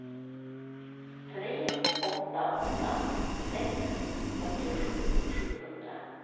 tre åtta åtta sex fyrtiosju sjuhundra